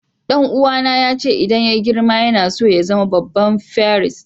Dan uwa na ya ce idan yayi girma yana so ya zama babban firist.